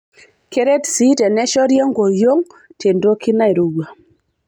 Keret sii teneshori enkoriong' tentoki nairowua.